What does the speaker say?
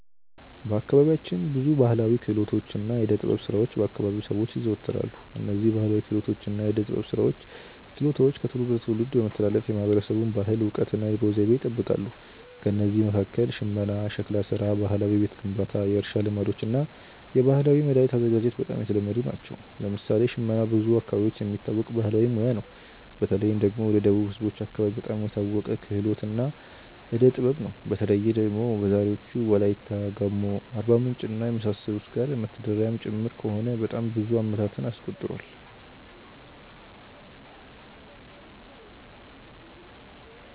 በአካባቢያችን ብዙ ባሕላዊ ክህሎቶችና የዕደ ጥበብ ሥራዎች በ አከባቢው ሰዎች ይዘወተራሉ። እነዝህ ባህላዊ ክህሎቶች እና የዕዴ ጥበብ ስራዎች ችሎታዎች ከትውልድ ወደ ትውልድ በመተላለፍ የማህበረሰቡን ባህል፣ እውቀት እና የኑሮ ዘይቤ ይጠብቃሉ። ከእነዚህ መካከል ሽመና፣ ሸክላ ሥራ፣ ባህላዊ የቤት ግንባታ፣ የእርሻ ልማዶች እና የባህላዊ መድኃኒት አዘገጃጀት በጣም የተለመዱ ናቸው። ለምሳሌ ሽመና በብዙ አካባቢዎች የሚታወቅ ባህላዊ ሙያ ነው። በተለይ ደግሞ ወደ ደቡብ ህዝቦች አከባቢ በጣም የታወቀ ክህሎት እና ዕዴ ጥበብ ነው። በተለይ ደግሞ በዛሬዎቹ ዎላይታ፣ ጋሞ፣ አርባምንጭ እና የመሳሰሉት ጋር መተዳደሪያም ጭምር ከሆነ በጣም ብዙ አመታትን አስቆጥሯል።